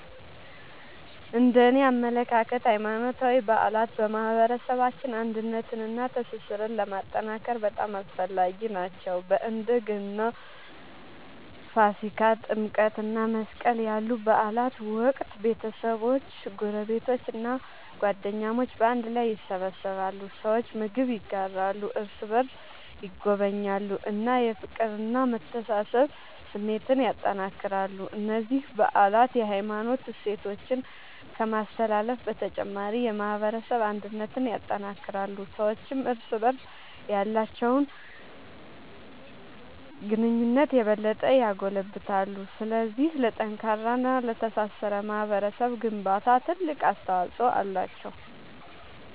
እነደኔ አመለካከት ሃይማኖታዊ በዓላት በማህበረሰባችን አንድነትንና ትስስርን ለማጠናከር በጣም አስፈላጊ ናቸው። በእንደ ገና፣ ፋሲካ፣ ጥምቀት እና መስቀል ያሉ በዓላት ወቅት ቤተሰቦች፣ ጎረቤቶች እና ጓደኞች በአንድ ላይ ይሰበሰባሉ። ሰዎች ምግብ ይጋራሉ፣ እርስ በርስ ይጎበኛሉ እና የፍቅርና የመተሳሰብ ስሜትን ያጠናክራሉ። እነዚህ በዓላት የሃይማኖት እሴቶችን ከማስተላለፍ በተጨማሪ የማህበረሰብ አንድነትን ያጠናክራሉ። ሰዎችም እርስ በርስ ያላቸውን ግንኙነት የበለጠ ያጎለብታሉ። ስለዚህ ለጠንካራና ለተሳሰረ ማህበረሰብ ግንባታ ትልቅ አስተዋጽኦ አላቸው።